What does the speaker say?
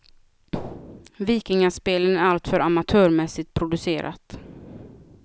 Vikingaspelen är allt för amatörmässigt producerat.